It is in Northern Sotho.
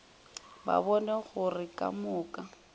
ba bone gore ka moka